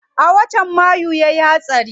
A watan mayu yayi hatsari.